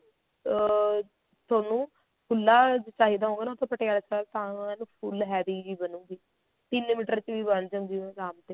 ਅਹ ਥੋਨੂੰ ਖੁੱਲਾ ਚਾਹੀਦਾ ਹੋਊਗਾ ਨਾ ਤਾਂ ਪਟਿਆਲਾ ਸਲਵਾਰ ਤਾਂ ਏਨ full heavy ਜੀ ਬਣੁਗੀ ਤਿੰਨ ਮੀਟਰ ਚ ਵੀ ਬਣ ਜਾਂਦੀ ਆ ਆਰਾਮ ਤੇ